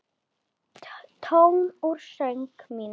Tónn úr söng mínum.